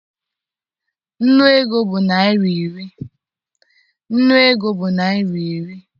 Nnu ego bụ naịra iri.